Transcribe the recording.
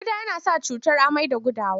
Ƙuda yana sa cutar amai da gudawa.